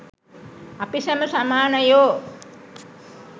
අපි සැම සමානයෝ.